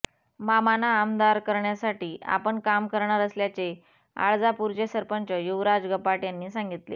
मामाना आमदार करण्यासाठी आपण काम करणार असल्याचे आळजापुरचे सरपंच युवराज गपाट यांनी सांगितले